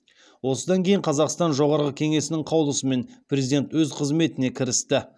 осыдан кейін қазақстан жоғарғы кеңесінің қаулысымен президент өз қызметіне кірісті